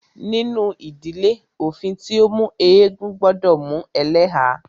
Nínú ìdílé, òfin tí o mú eégún gbọdọ mú ẹlẹ́há.